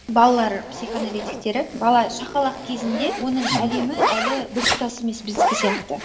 балалар психоаналитиктері бала шақалақ кезінде оның әлемі әлі біртұтас емес біздікі сияқты